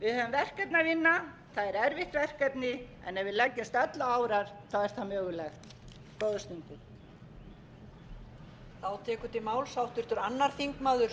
að vinna það er erfitt verkefni en ef við leggjumst öll á árar er það mögulegt góðar stundir